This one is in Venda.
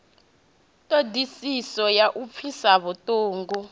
ṱhodisiso ya u pfisa vhuṱungu